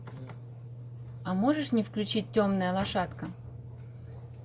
а можешь мне включить темная лошадка